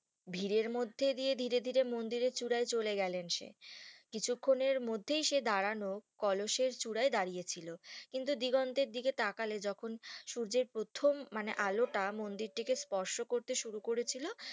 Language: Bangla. ভিড়ের মধ্যে দিয়ে ধীরে ধীরে মন্দিরের চূড়ায় চলে গেলেন সে কিছু খান এর মধ্যেই সেই দাঁড়ানো কলসের চূড়ায় দাঁড়িয়ে ছিল কিন্তু দিগন্তের দিকে তাকালে যখন সূর্যের প্রথম মানে আলোটা মন্দিরটিকে স্পর্শ করতে শুরু করেছিল